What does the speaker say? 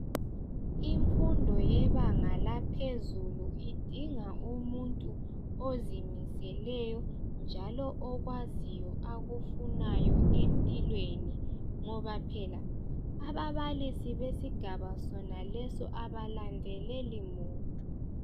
Imfundo yebanga laphezulu. Idinga umuntu ozimiseleyo, okwaziyo akufunayo empilweni, ngoba phela ababalisi besigaba onaIQesi, kabalandelelimuntu.